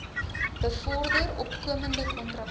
bevorder opkomende kontrakteurs